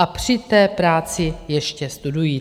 A při té práci ještě studují.